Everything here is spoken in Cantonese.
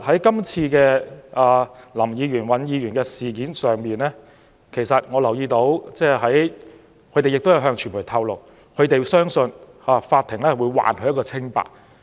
就涉及林議員和尹議員的事件，兩位議員也曾對傳媒表示，他們相信法庭會還他們一個清白。